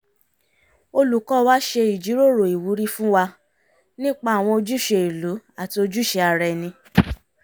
olùkọ́ wa ṣe ìjíròrò ìwúrí fún wa nípa àwọn ojúṣe ìlú àti ojúṣe ara ẹni